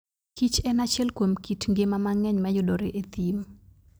kich en achiel kuom kit ngima mang'eny mayudore e thim.